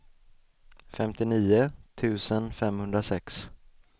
femtionio tusen femhundrasex